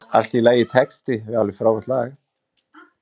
Allt í lagitexti við alveg frábært lag.